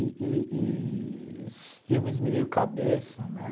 E e e esses filmes meio cabeça, né?